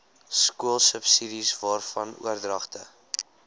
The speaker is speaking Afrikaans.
skoolsubsidies waarvan oordragte